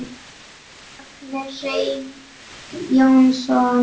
Magni Hreinn Jónsson